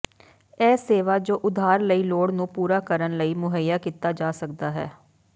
ਇਹ ਸੇਵਾ ਜੋ ਉਧਾਰ ਕਈ ਲੋੜ ਨੂੰ ਪੂਰਾ ਕਰਨ ਲਈ ਮੁਹੱਈਆ ਕੀਤਾ ਜਾ ਸਕਦਾ ਹੈ